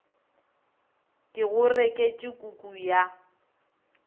ke go reketše kuku ya